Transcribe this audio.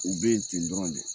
U bɛ yen ten dɔrɔn de